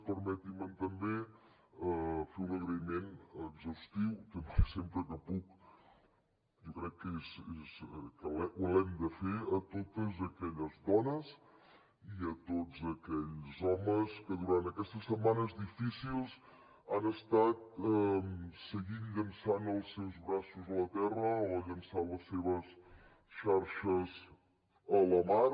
permetin me també fer un agraïment exhaustiu sempre que puc jo crec que l’hem de fer a totes aquelles dones i a tots aquells homes que durant aquestes setmanes difícils han estat seguint llançant els seus braços a la terra o llançant les seves xarxes a la mar